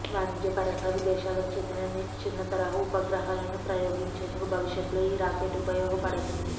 వాణిజ్యపరంగా విదేశాలకు చెందిన చిన్న తరహా ఉపగ్రహాలను ప్రయోగించేందుకు భవిష్యత్తులో ఈ రాకెట్ ఉపయోగపడనుంది